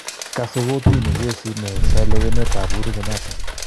Kasee kootini kesiit neyeesha lewenet ab Uhuru Kenyatta